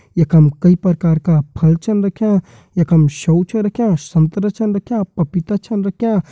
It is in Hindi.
यखम कई प्रकार का फल छन रख्यां यखम सेब छन रख्यां संतरा छन रख्यां पपीता छन रख्यां।